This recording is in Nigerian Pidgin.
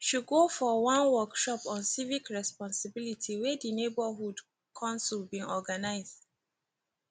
she go for one workshop on civic responsibilities wey di neighborhood council bin organize